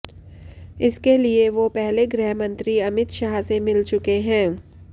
इसके लिए वो पहले गृह मंत्री अमित शाह से मिल चुके हैं